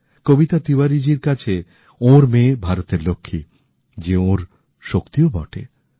কবিতা তিওয়ারিজীর কাছে ওঁর মেয়ে ভারতের লক্ষ্মী যে ওঁর শক্তিও বটে